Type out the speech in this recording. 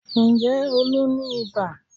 Ǹjẹ́ Olú ní ibà?